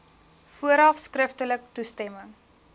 vooraf skriftelik toestemming